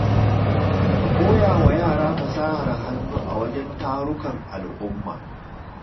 Ka koya wa yara fasahar hannu a wajen tarukan al’umma.